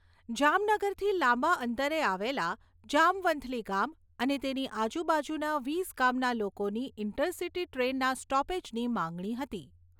જામનગરથી લાંબા અંતરે આવેલા જામવંથલી ગામ અને તેની આજુબાજુના વીસ ગામના લોકોની ઇન્ટરસીટી ટ્રેનના સ્ટોપેજની માંગણી હતી.